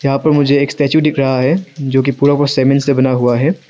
यहां पर मुझे एक स्टैचू दिख रहा है जो की पूरा पुरा सीमेंट से बना हुआ है।